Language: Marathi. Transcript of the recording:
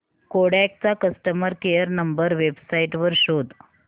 कोडॅक चा कस्टमर केअर नंबर वेबसाइट वर शोध